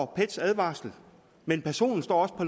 pets advarsel men personen står også på